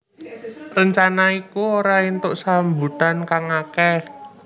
Rencana iku ora entuk sambutan kang akeh